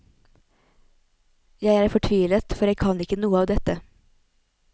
Jeg er fortvilet, for jeg kan ikke noe av dette.